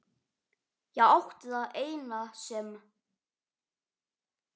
Ég átti það eina sem